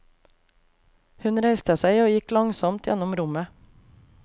Hun reiste seg og gikk langsomt gjennom rommet.